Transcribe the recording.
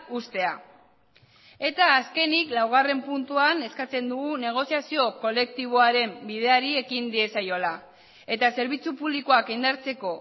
uztea eta azkenik laugarren puntuan eskatzen dugu negoziazio kolektiboaren bideari ekin diezaiola eta zerbitzu publikoak indartzeko